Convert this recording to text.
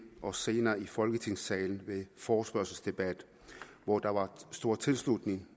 og senere i folketingssalen ved en forespørgselsdebat hvor der var stor tilslutning